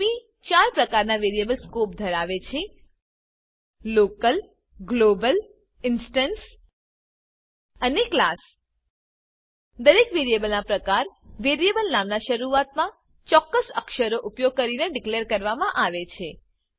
Ruby ચાર પ્રકારના variable scope ધરાવે છે લોકલ ગ્લોબલ ઇન્સ્ટેન્સ અને ક્લાસ દરેક વેરિયેબલના પ્રકાર વેરિયેબલ નામના શરૂઆતમાં ચોક્કસ અક્ષરો ઉપયોગ કરીને ડીકલેર કરવામાં આવે છે